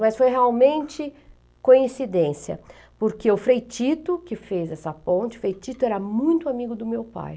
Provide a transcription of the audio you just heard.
Mas foi realmente coincidência, porque o Frei Tito, que fez essa ponte, o Frei Tito era muito amigo do meu pai.